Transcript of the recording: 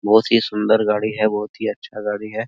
बहुत ही सुन्दर गाड़ी है बहुत ही अच्छा गाड़ी है |